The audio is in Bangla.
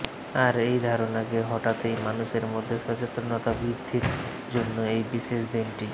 আর এই ধারণাকে হঠাতেই মানুষের মধ্যে সচেতনতা বৃদ্ধির জন্য এই বিশেষ দিনটি